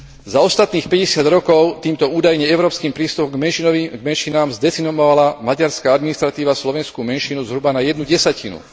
Za ostatných 50 rokov týmto údajne európskym prístupom k menšinám zdecimovala maďarská administratíva slovenskú menšinu zhruba na jednu desatinu.